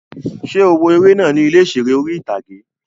Ṣé o wo eré náà ní ilé ìseré orí-ìtágé?